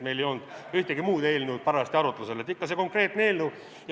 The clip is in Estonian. Meil ei olnud ühtegi muud eelnõu parajasti arutlusel, ikka see konkreetne eelnõu.